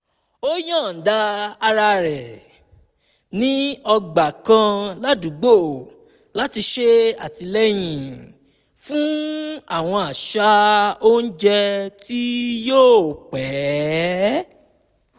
ó yọ̀ọ̀da ara rẹ̀ ní ọgbà kan ládùúgbò láti ṣe àtìlẹ́yìn fún àwọn àṣà oúnjẹ tí yóò pẹ́